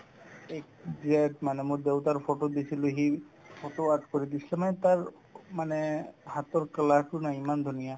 জীয়াত মানে মোৰ দেউতাৰ photo দিছিলো সি photo art কৰি দিছে মানে তাৰ মানে হাতৰ কলাতো না ইমান ধুনীয়া